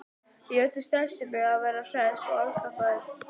Í öllu stressinu að vera hress og afslappaður.